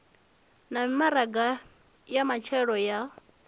na mimaraga ya matshelo ya